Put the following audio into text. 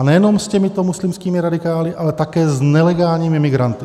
A nejenom s těmito muslimskými radikály, ale také s nelegálními migranty.